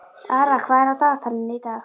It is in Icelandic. Ara, hvað er á dagatalinu í dag?